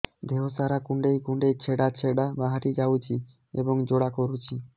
ଦେହ ସାରା କୁଣ୍ଡେଇ କୁଣ୍ଡେଇ ଛେଡ଼ା ଛେଡ଼ା ବାହାରି ଯାଉଛି ଏବଂ ଜ୍ୱାଳା କରୁଛି